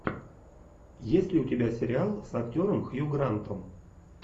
есть ли у тебя сериал с актером хью грантом